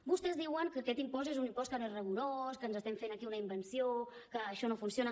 vostès diuen que aquest impost és un impost que no és rigorós que ens estem fent aquí una invenció que això no funciona